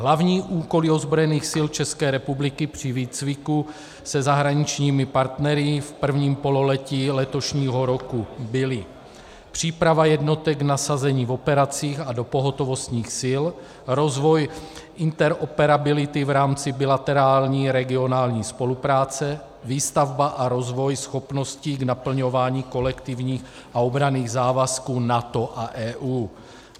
Hlavní úkoly ozbrojených sil České republiky při výcviku se zahraničními partnery v prvním pololetí letošního roku byly: příprava jednotek k nasazení v operacích a do pohotovostních sil, rozvoj interoperability v rámci bilaterální regionální spolupráce, výstavba a rozvoj schopností k naplňování kolektivních a obranných závazků NATO a EU.